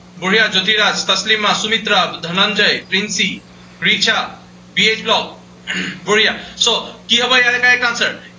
বঢ়িয়া, Jyotika, Taslima, Sumitra, Dhananjay, Pinky, Richa, B H blog, বঢ়িয়া so কি হব ইয়াৰে correct answer